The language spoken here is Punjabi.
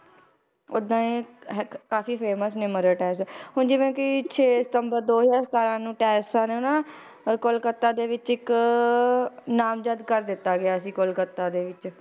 ਓਦਾਂ ਹੀ ਹੈ ਕਾਫ਼ੀ famous ਨੇ ਮਦਰ ਟੈਰੇਸਾ, ਹੁਣ ਜਿਵੇਂ ਕਿ ਛੇ ਸਤੰਬਰ ਦੋ ਹਜ਼ਾਰ ਸਤਾਰਾਂ ਨੂੰ ਟੈਰੇਸਾ ਨੇ ਨਾ ਅਹ ਕੋਲਕੱਤਾ ਦੇ ਵਿੱਚ ਇੱਕ ਨਾਮਜਦ ਕਰ ਦਿੱਤਾ ਗਿਆ ਸੀ, ਕੋਲਕੱਤਾ ਦੇ ਵਿੱਚ,